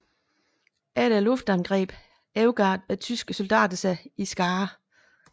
Efter luftangrebet overgav tyske soldater sig i skarer